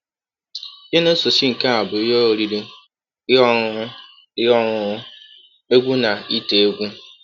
Ihe na - esochi nke a bụ ihe oriri, ihe ọṅụṅụ ihe ọṅụṅụ, egwú, na ite egwú.